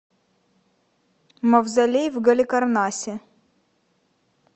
мавзолей в галикарнасе